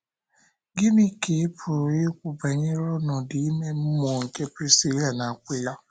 Gịnị ka ị pụrụ ikwu banyere ọnọdụ ime mmụọ nke Prisila na Akwịla?